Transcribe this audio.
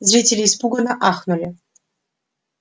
зрители испуганно ахнули